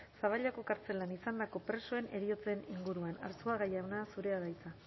zaballako kartzelan izandako presoen heriotzen inguruan arzuaga jauna zurea da hitza